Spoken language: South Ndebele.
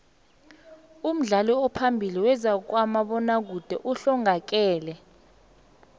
umdlali ophambili wezabomabona kude uhlongakele